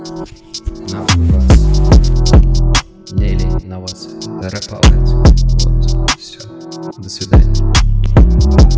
ярославль до свидания